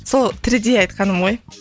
сол тірідей айтқаным ғой